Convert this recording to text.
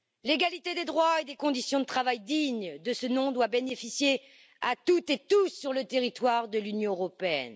L'égalité des droits, et des conditions de travail dignes de ce nom, doivent bénéficier à toutes et tous sur le territoire de l'Union européenne.